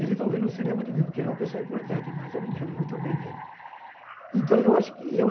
Ele talvez não se lembra de mim, porque ele é uma pessoa importante, mas eu me lembro muito bem dele.